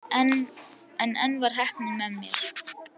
En enn var heppnin með mér.